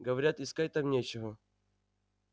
говорят искать там нечего